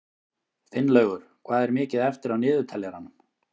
Finnlaugur, hvað er mikið eftir af niðurteljaranum?